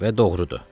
Və doğrudur.